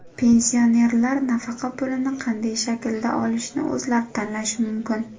Pensionerlar nafaqa pulini qanday shaklda olishni o‘zlari tanlashi mumkin .